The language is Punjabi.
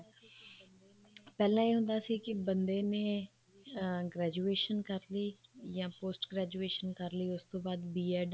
ਪਹਿਲਾਂ ਇਹ ਹੁੰਦਾ ਸੀ ਬੰਦੇ ਨੇ ਅਮ graduation ਕਰਲੀ ਜਾਂ post graduation ਕਰਲੀ ਜਾਂ ਉਸ ਤੋਂ ਬਾਅਦ B.ED